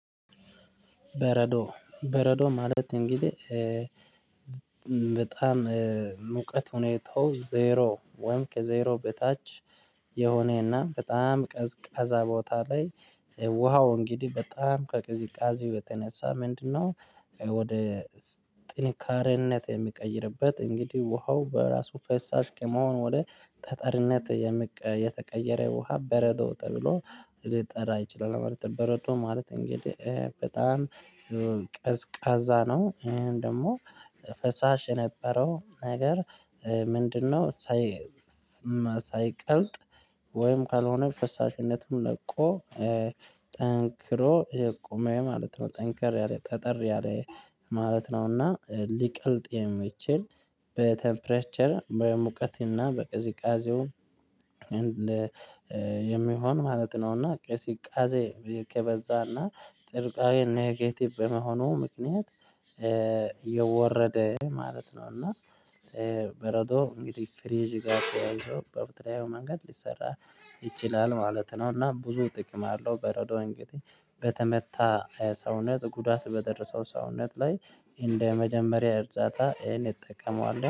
በረዶ በረዶ ማለት እንግዲህ በጣም ሙቀት ሁኔታው ዜሮ ወይም ከዜሮ በታች የሆነና በጣም ቀዝቃዛ ቦታ ላይ ውሃው እንግዲህ በጣም ከቅዝቃዜው የተነሳ ምንድነው ወደ ጥንካሬነት የሚቀይርበት እንግዲህ ውሃው በራሱ ፈሳሽ ከመሆን ወደ ጠጠርነት የተቀየረ ውሃ በረዶ ተብሎ ልጠራ እችላል ማለት ነው። በረዶ ማለት እንግዲህ በጣም ቀዝቃዛ ነው። ወይም ደግሞ ፈሳሽ የነበረው ነገር ምንድነው ሳይ ሳይቀልጥ ወይም ካልሆነ ፈሳሽነቱን ለቆ ጠንክሮ የቆመ ማለት ነው። ጠንክሮ ያለ ጠጠር ያለ ማለት ነውና ሊቀልጥ የሚችል በቴምፕሬቸር በሙቀትና በቅዝቃዜው የሚሆን ማለት ነው። ና ቅዝቃዜ ከበዛና ጥርቃሬ ኔኬቲቭ በመሆኑ ምክንያት የወረደ ማለት ነው። እና በረዶ እንግዲህ ፍሪጅ ጋር ተያይዞ በብትራይብ መንገድ ሊሰራ ይችላል ማለት ነው። እና ብዙ ጥቅም አለው በረዶ እንግዲህ በተመታ ሰውነት ጉዳት በደረሰው ሰውነት ላይ እንደ መጀመሪያ እርጃታ ይሄን እንጠቀመዋለን።